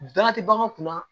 Baara tɛ bagan kunna